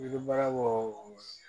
Yiri bara wo